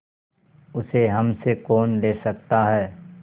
उसे हमसे कौन ले सकता है